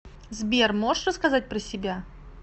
сбер можешь рассказать про себя